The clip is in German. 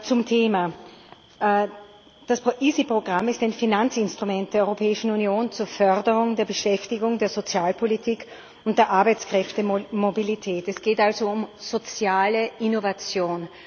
Zum Thema Das EaSI Programm ist ein Finanzinstrument der Europäischen Union zur Förderung der Beschäftigung, der Sozialpolitik und der Arbeitskräftemobilität. Es geht also um soziale Innovation.